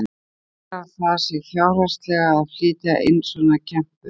Borgar það sig fjárhagslega að flytja inn svona kempur?